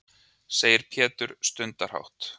segir Pétur stundarhátt.